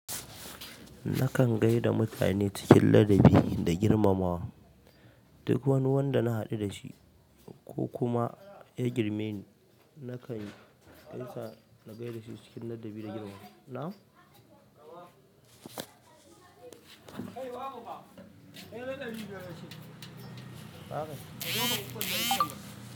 Nakan gaida mutane cikin ladabi da girmamawa. Duk wani wanda na haɗu dashi ko kuma ya girme ni, nakan gaisa na gaida shi cikin ladabi da girmamawa. Na?